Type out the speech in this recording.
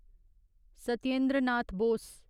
Satyendra Nath Bose